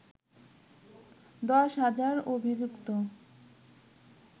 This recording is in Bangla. দশ হাজার অভিযুক্ত